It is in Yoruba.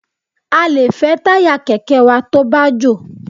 A lè fẹ́ táyà kẹ̀kẹ́ wa tó bá jò.